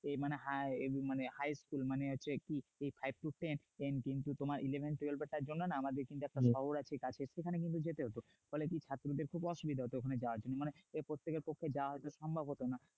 মানে high মানে হচ্ছে কি high school কিন্তু তোমার five to ten এর তার জন্য একটুখানি কিন্তু যেতে হতো ফলে কি ছাত্রদের খুব অসুবিধা হতো ওখানে যাওয়ার জন্য এরপর থেকে ওখানে যাওয়া সম্ভব হতো না